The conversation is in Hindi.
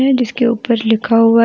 जिसके ऊपर लिखा हुआ है।